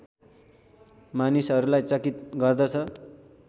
मानिसहरूलाई चकित गर्दछ